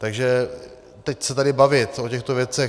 Takže teď se tady bavit o těchto věcech...